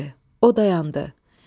O dayandı.